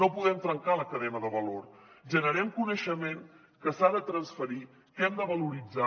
no podem trencar la cadena de valor generem coneixement que s’ha de transferir que hem de valoritzar